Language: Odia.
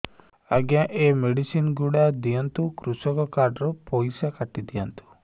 ଆଜ୍ଞା ଏ ମେଡିସିନ ଗୁଡା ଦିଅନ୍ତୁ କୃଷକ କାର୍ଡ ରୁ ପଇସା କାଟିଦିଅନ୍ତୁ